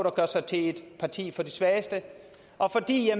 at gøre sig til et parti for de svageste og fordi